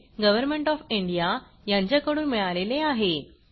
government of India यांच्याकडून मिळालेले आहे